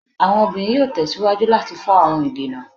Awọn obinrin yoo tẹsiwaju lati fọ awọn idena